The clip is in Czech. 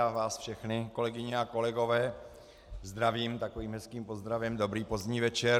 A vás všechny, kolegyně a kolegové, zdravím takovým hezkým pozdravem - dobrý pozdní večer.